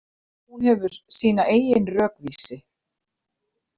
Hún hefur sína eigin rökvísi.